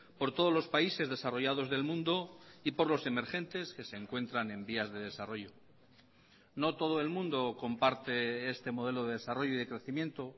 por todos los países desarrollados del mundo y por los emergentes que se encuentran en vías de desarrollo no todo el mundo comparte este modelo de desarrollo y de crecimiento